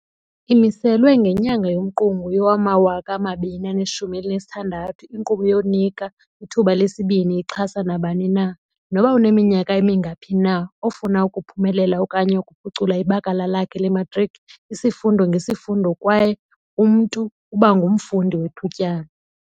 Imiselwe ngenyanga yoMqungu yowama-2016, inkqubo yokuNika iThuba leSibini ixhasa nabani na - noba uneminyaka emingaphi na - ofuna ukuphumelela okanye ukuphucula ibakala lakhe lematriki, isifundo ngesifundo kwaye umntu uba ngumfundi wethutyana.